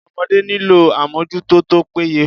Ọmọdé nílò àmójútó tó péye.